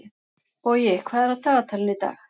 Bogi, hvað er á dagatalinu í dag?